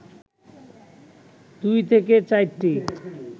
২ থেকে ৪টি